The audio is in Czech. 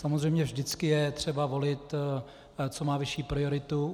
Samozřejmě vždycky je třeba volit, co má vyšší prioritu.